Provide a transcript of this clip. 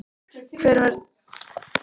Hver er því tilgangurinn í að ræða við hann?